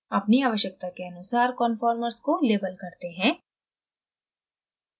अपनी आवश्यकता के अनुसार conformers को label करते हैं